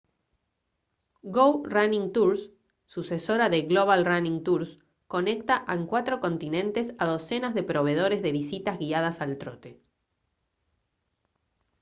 go running tours sucesora de global running tours conecta en cuatro continentes a docenas de proveedores de visitas guiadas al trote